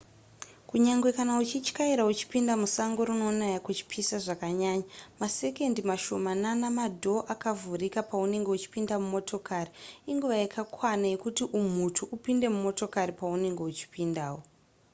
kunyange kana uchityaira uchipinda musango rinonaya kuchipisa zvakanyaya masekondi mashomanana madhoo akavhurika paunenge uchipinda mumotokari inguva yakakwana yekuti umhutu upinde mumotokari paunenge uchipindawo